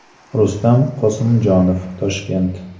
Rustam Qosimjonov: Toshkent.